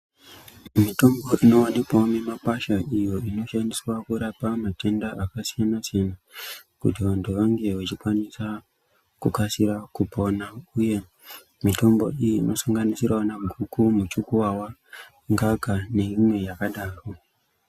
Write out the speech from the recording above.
Mitombo inowanikwawo mumakwasha iyo inoshandiswa kurapa matenda akasiyana siyana kuti vantu vange vechikwanisa kukasira kupona uye mitombo iyi inosanganisira guku, muchukuwawa, ngaka neimwe yakadaro.